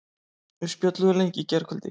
Við spjölluðum lengi í gærkvöldi.